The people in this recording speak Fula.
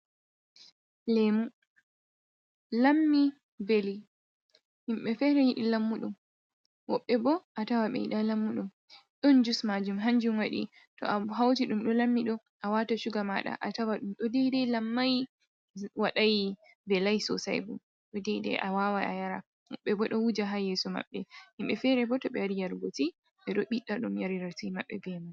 Lemu, lammi veli, himɓe fere yiɗi lammuɗum, woɓɓe bo a tawa ɓeyida lammuɗum. Ɗon jus majum, hanjum waɗi to a hauti ɗum ɗo lammiɗo a wata shuga maɗa, a tawa ɗum ɗo daidai lammai waɗai velai sosai bo ɗo daidai a wawa a yara. Woɓɓe bo ɗo wuja hayeso maɓɓe. Himɓe fere bo to ɓe wari yarugo ti ɓe ɗo ɓiɗɗa ɗum yarira ti mabbe bemai.